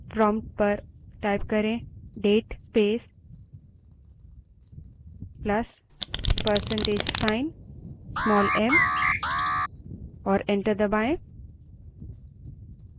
prompt पर date space plus percentage sign small m type करें और enter दबायें